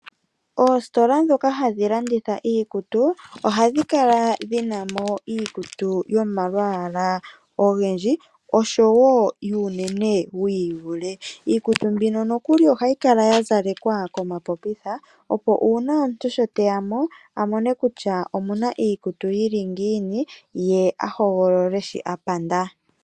Oositola dhoka hadhi landitha iikutu, ohadhi kala dhinamo iikutu yomalwaala ogendji, oshowo yuunene wiivule. Iikutu mbino nokuli ohayi kala ya zalekwa komapopitha, opo una omuntu sho teyamo amone kutya omuna iikutu yili ngiini, ye a hogolole sho a panda.